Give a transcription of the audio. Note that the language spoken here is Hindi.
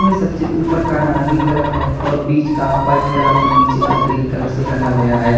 इनमें सबसे ऊपर का नारंगी कलर है और बीच का वाइट कलर और नीचे का ग्रीन कलर से रंगा गया है।